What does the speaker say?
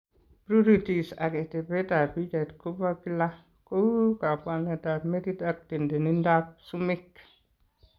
Pruritis ak etetab pichait ko bo kila ,ko u kabwanetab metit ak tendenietab sumek.